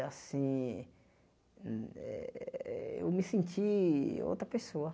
Assim, eh eu me senti outra pessoa.